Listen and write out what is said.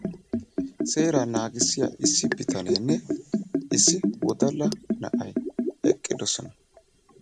Seeraa naagissiyaa issi bitanenne issi wodalla na'ay eqqidoosona.